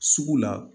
Sugu la